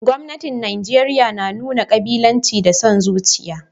Gwamnatin Najeriya na nuna kabilanci da son zuciya